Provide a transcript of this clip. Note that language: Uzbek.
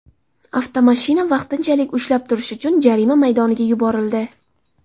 Avtomashina vaqtinchalik ushlab turish uchun jarima maydoniga yuborildi.